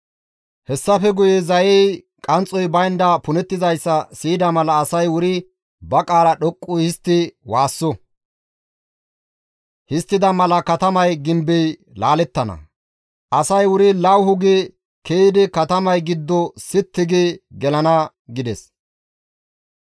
Hessafe guye zayey qanxxoy baynda punettizayssa siyida mala asay wuri ba qaala dhoqqu histti waasso; histtida mala katamay gimbey laalettana; asay wuri lawuhu gi ke7idi katamay giddo sitti gi gelana» gides.